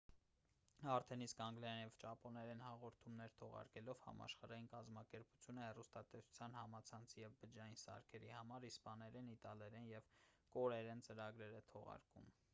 արդեն իսկ անգլերեն և ճապոներեն հաղորդումներ թողարկելով համաշխարհային կազմակերպությունը հեռուստատեսության համացանցի և բջջային սարքերի համար իսպաներեն իտալերեն և կորեերեն ծրագրեր է թողարկում